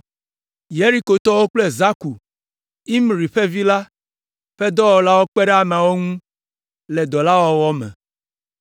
Yerikotɔwo kple Zakur, Imri ƒe vi la, ƒe dɔwɔlawo kpe ɖe ameawo ŋu le dɔ la wɔwɔ me.